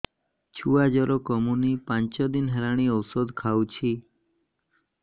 ଛୁଆ ଜର କମୁନି ପାଞ୍ଚ ଦିନ ହେଲାଣି ଔଷଧ ଖାଉଛି